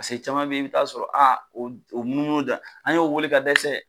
Paseke caman bɛ ye i bɛ t'a sɔrɔ a o o munu munu dan an y'o weele ka dɛsɛ.